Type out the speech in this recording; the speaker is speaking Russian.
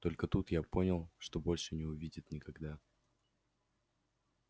только тут я понял что больше не увидит никогда